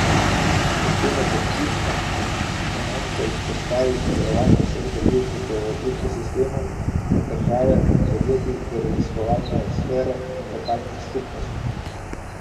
Pri tem je kot ključno komponento izpostavil sodelovanje vseh deležnikov v ekosistemu, od države in podjetij do raziskovalne sfere in lokalnih skupnosti.